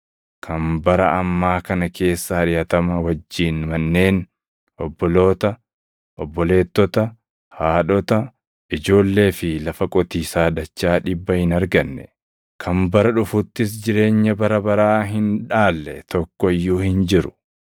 kan bara ammaa kana keessa ariʼatama wajjin manneen, obboloota, obboleettota, haadhota, ijoollee fi lafa qotiisaa dachaa dhibba hin arganne, kan bara dhufuttis jireenya bara baraa hin dhaalle tokko iyyuu hin jiru.